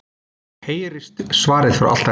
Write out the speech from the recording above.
heyrist svarað frá altarinu.